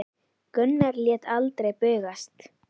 Gunnar lét aldrei bugast.